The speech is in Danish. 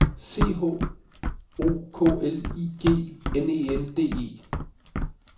C H O K L I G N E N D E